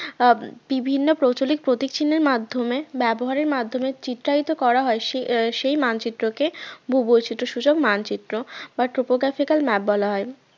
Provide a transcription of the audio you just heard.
আহ বিভিন্ন প্রচলিত প্রতীক চিহ্নের মাধ্যমে ব্যবহারের মাধ্যমে চিত্রায়িত করা হয় সেই মানচিত্রকে ভূবৈচিত্রসূচক মানচিত্র বা topographical map বলা হয়